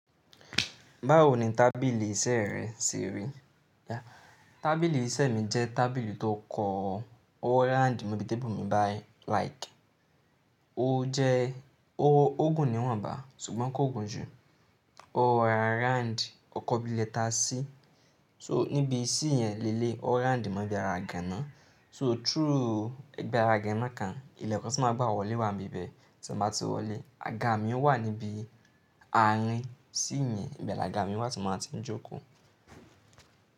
Báwo ni tábìlì iṣẹ́ rẹ ṣe rí? Tábilì iṣẹ́ mi jẹ́ tábìlì tó kọ Orand mobi tébù mi báì like. Ó jẹ́, ó gùn ni wọ́n bà á, ṣùgbọ́n kò gùn jù. O rora round, ó kọ bí lẹ́ta C. So níbi C yẹn lẹ́léyi o round mó bi ara igàna. So through ibi ara igàna kan, ilẹ̀kun tí máa gbá wọlé wà níbẹ̀ tí ma ti wọlé. Aga mi ń wà níbi àárín C yẹn, ibi àga mi ni wà tí mo ti ń jókòó.